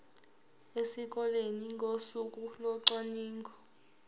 esikoleni ngosuku locwaningo